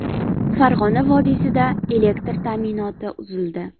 Farg‘ona vodiysida elektr ta’minoti uzildi .